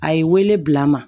A ye wele bila n ma